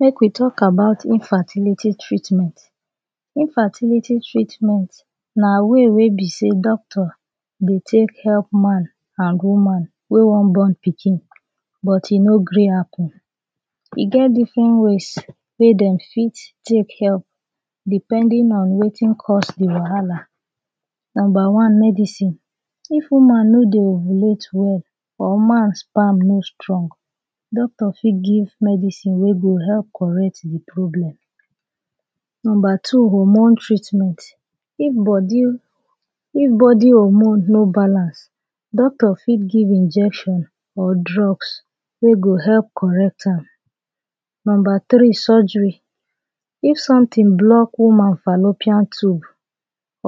Make we talk about infertility treatment. Infertility treatment na way wey be sey doctor dey take help man and woman wey wan born pikin but e no gree happen. E get different ways wey dem fit take help depending on wetin cause de wahala. Number one, medicine. If woman no dey ovulate well or man sperm no strong, doctor fit give medicine wey go help correct de problem. Number two, hormone treatment. If body, if body hormone no balance, doctor fit give injection or drugs wey go help correct am. Number tri, surgery. If sometin block woman fallopian tube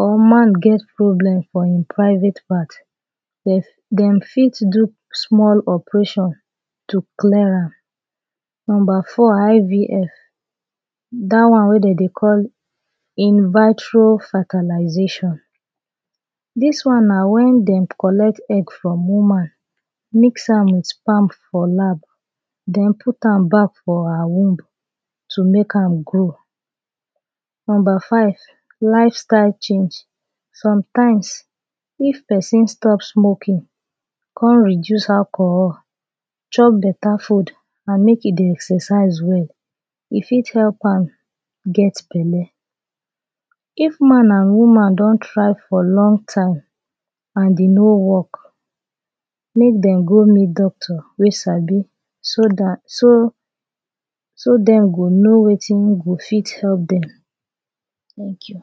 or man get problem for e private part, dem, dem fit do small operation to clear am. Number four IVF. Dat one wey dey dey call In-Vitro-Fertilisation. Dis one na when dem collect egg from woman mix am with sperm for lab, den pit am back for her womb to make am grow. Number five, lifestyle change. Sometimes, if pesin stop smoking, kon reduce alcohol, chop beta food and make e dey exercise well, e fit help am get belle. If man and woman don try for long time, and e no work, make dem go meet doctor wey sabi so dat, so, so dem go know wetin go fit help dem. Thank you.